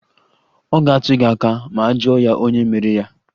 Ọ ga-atụ gị aka ma a jụọ ya onye mere ya